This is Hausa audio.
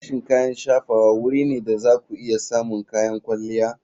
Sashen kayan shafawa wuri ne da za ku iya samun kayan kwalliya.